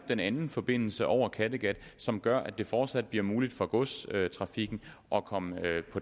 den anden forbindelse over kattegat som gør at det fortsat bliver muligt for godstrafikken at komme